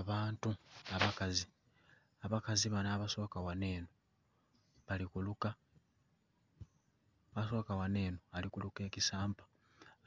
Abantu abakazi abakazi bano abasoka ghano enho bali kuluka ebisampa